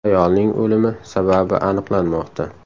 Ayolning o‘limi sababi aniqlanmoqda.